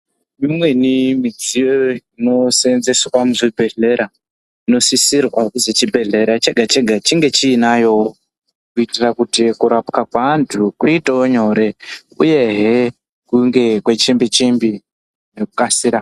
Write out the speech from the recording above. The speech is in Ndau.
Imweni midziyo inoseenzeswa muzvibhedhlera inosisirwa kuti chibhedhlera chega chega chinge chiinayowo kuitira kuti kurapwa kweanthu kuitewo nyore uyehe kunge kwechimbi chimbi, kwekukasira.